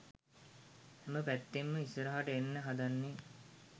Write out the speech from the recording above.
හැම පැත්තෙන්ම ඉස්සරහට එන්න හදන්නේ.